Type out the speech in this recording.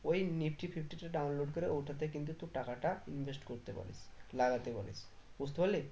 ওই nifty fifty টা download করে ওটাতে কিন্তু তোর টাকাটা invest করতে পারিস লাগাতে পারিস বুঝতে পারলি